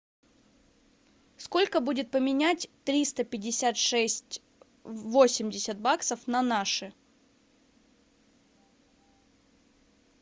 сколько будет поменять триста пятьдесят шесть восемьдесят баксов на наши